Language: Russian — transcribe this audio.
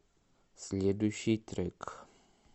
следующий трек